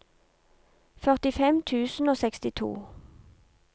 førtifem tusen og sekstito